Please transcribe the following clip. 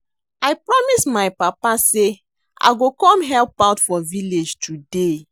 I promise my papa say I go come help out for village today